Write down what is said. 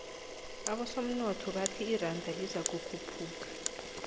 abosomnotho bathi iranda lizokukhuphuka